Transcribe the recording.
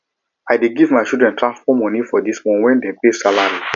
i dey give my children transport moni for di month wen dem pay salary